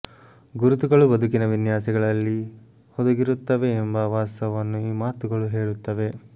ಗುರುತುಗಳು ಬದುಕಿನ ವಿನ್ಯಾಸಗಳಲ್ಲಿ ಹುದುಗಿರುತ್ತವೆ ಎಂಬ ವಾಸ್ತವನ್ನು ಈ ಮಾತುಗಳು ಹೇಳುತ್ತವೆ